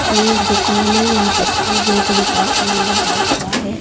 ये एक दुकान है यहां पस बे बेकरी का बोर्ड लगा हुआ है.